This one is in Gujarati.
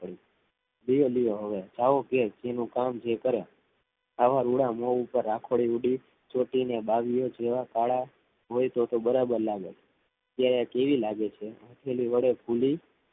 ધીરે ધીરે હોવે જેનું કામ જે કરે આવા મુધા પાર રાખોડી ઊધી જોતી ને બાવીઉ જેવા ખાધા હોય થો થો બરાબર લાગે જૂ થો કે કેવી લાગે છેફૂલી પેલી વડે